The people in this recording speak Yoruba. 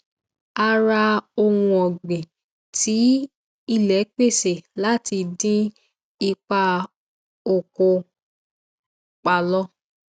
a ra ohun ọgbìn tí ilé pèsè láti dín ipa ọkọ pálọ